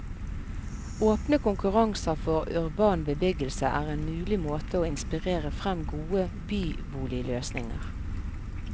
Åpne konkurranser for urban bebyggelse er en mulig måte å inspirere frem gode byboligløsninger.